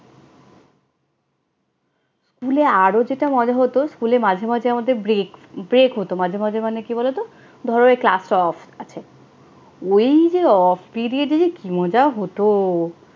স্কুলে আরো যেটা মজা হতো, স্কুলে মাঝে মাঝে আমাদের break break হতো। মাঝে মাঝে মানে কি বলতো, ধরো এই ক্লাসটা off আছে, ওই যে off period এ যে কি মজা হতো!